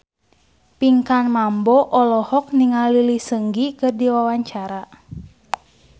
Pinkan Mambo olohok ningali Lee Seung Gi keur diwawancara